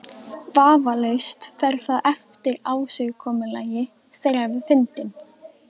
Vafalaust fer það eftir ásigkomulagi þeirra við fundinn.